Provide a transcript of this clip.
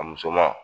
A musoman